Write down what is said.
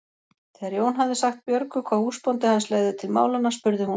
Þegar Jón hafði sagt Björgu hvað húsbóndi hans legði til málanna spurði hún